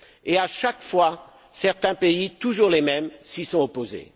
Et à chaque fois, certains pays, toujours les mêmes, s'y sont opposés.